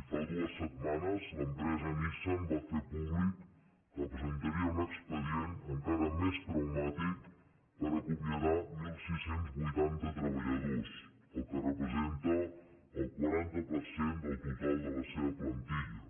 i fa dues setmanes l’empresa nissan va fer públic que presentaria un expedient encara més traumàtic per acomiadar setze vuitanta treballadors cosa que representa el quaranta per cent del total de la seva plantilla